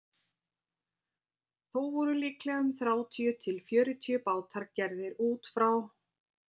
Þó voru líklega um þrjátíu til fjörutíu bátar gerðir út frá